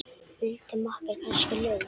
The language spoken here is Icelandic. Vildi makker kannski LAUF?